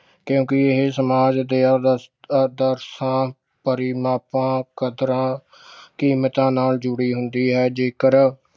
ਕਿਉਂਕਿ ਇਹ ਸਮਾਜ ਦੇ ਆਦਰਸ ਆਦਰਸਾਂ ਪਰਿਮਾਪਾਂ ਕਦਰਾਂ ਕੀਮਤਾਂ ਨਾਲ ਜੁੜੀ ਹੁੰਦੀ ਹੈ ਜੇਕਰ